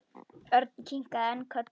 Örn kinkaði enn kolli.